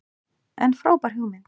En frábær hugmynd.